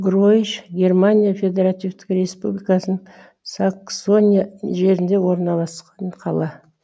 гройч германия федеративтік республикасының саксония жерінде орналасқан қала